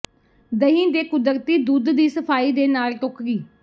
ਦਹੀਂ ਦੇ ਕੁਦਰਤੀ ਦੁੱਧ ਦੀ ਸਫਾਈ ਦੇ ਨਾਲ ਟੋਕਰੀ